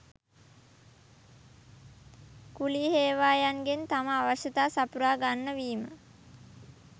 කුලී හේවායන්ගෙන් තම අවශ්‍යතා සපුරා ගන්න වීම